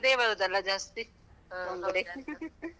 ಅದೇ ಬರುದಲ್ಲ ಜಾಸ್ತಿ, ಬಂಗುಡೆ .